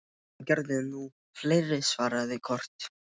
Það gerðu nú fleiri, svaraði Kort.